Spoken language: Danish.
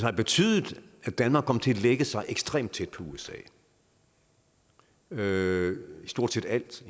har betydet at danmark kom til at lægge sig ekstremt tæt på usa med stort set alt